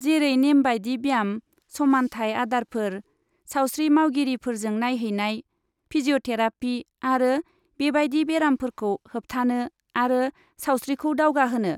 जेरै नेमबादि ब्याम, समानथाय आदारफोर, सावस्रि मावगिरिफोरजों नायहैनाय, फिजिअ'थेरापि आरो बेबादि बेरामफोरखौ होबथानो आरो सावस्रिखौ दावगाहोनो।